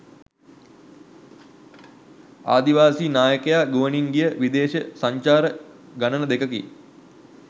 ආදිවාසී නායකයා ගුවනින් ගිය විදේශ සංචාර ගණන දෙකකි.